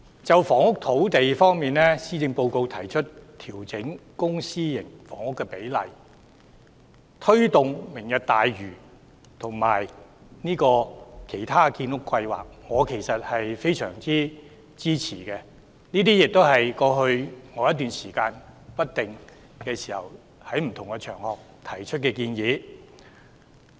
就房屋和土地方面，施政報告提出調整公私營房屋比例，推動"明日大嶼"及其他建屋計劃，我非常支持，亦回應了我在過去一段時間在不同場合不定期提出的建議。